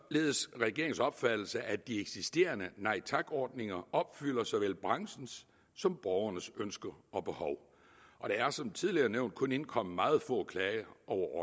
regeringens opfattelse at de eksisterende nej tak ordninger opfylder såvel branchens som borgernes ønsker og behov og der er som tidligere nævnt kun indkommet meget få klager over